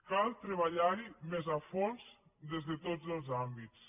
cal treballar hi més a fons des de tots els àmbits